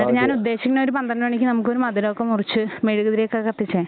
എന്നിട്ട് ഞാൻ ഉദ്ദേശിക്കണത് ഒരു പന്ത്രണ്ട് മണിക്ക് നമുക്കൊരു മധുരമൊക്കെ മുറിച്ച് മെഴുകുതിരിയൊക്കെ കത്തിച്ചേ